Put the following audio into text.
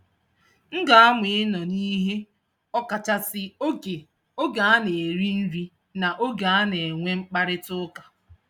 M ga-amụ ịnọ n'ihe ọ kachasị oge oge a na-eri nri na oge a na-enwe mkparịtaụka.